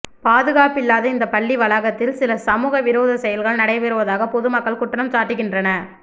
பாதுகாப்பில்லாத இந்த பள்ளி வளாகத்தில் சில சமூக விரோத செயல்கள் நடைபெறுவதாக பொது மக்கள் குற்றம் சாட்டுகின்றனர்